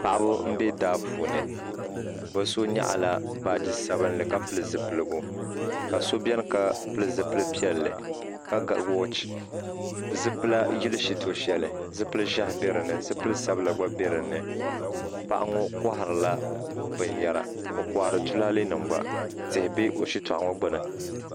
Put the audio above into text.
Paɣiba n bɛ daa puuni bi so yɛɣi la baaji sabinli ka pili zupiligu ka so bɛni ka pili zupiligu piɛlli ka ga wɔchi zipila yili shitɔɣu shɛli zipili zɛhi bɛ dinni zipili sabila gba bɛ dini paɣa ŋɔ kɔhiri la bini yara o kɔhira tulale nima gba tihi bɛ o shitɔɣu gbuni.